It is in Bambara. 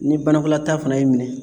Ni banakɔlataa fana y'i minɛ